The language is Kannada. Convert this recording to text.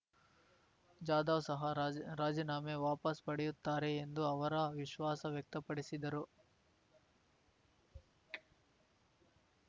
ಜಾಧವ್ ಸಹ ರಾಜಿರಾಜೀನಾಮೆ ವಾಪಸ್ ಪಡೆಯುತ್ತಾರೆ ಎಂದು ಅವರು ವಿಶ್ವಾಸ ವ್ಯಕ್ತಪಡಿಸಿದರು